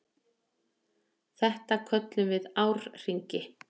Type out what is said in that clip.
Þetta köllum við árhringi.